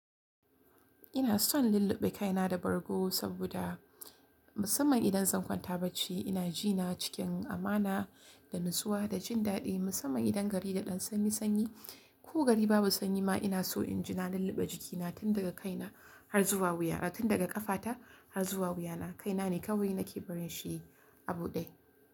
Ina son lulluɓe kaina da bargo saboda musamman idan zan kwanta bacci ina jina cikin amana da natsuwa da jin daɗi musamman idan gari da ɗan sanni sanyi ko gari babu sanyi ma ina so inji na lulluɓe jikina tun daga kaina har zuwa wuyana tun daga ƙafata har zuwa wuyana kaina ne kawai nake barin shi yi a bude.